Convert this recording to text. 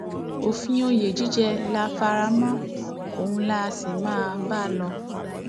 òfin òye jíjẹ la fara mọ ohun lá á sì máa bá lò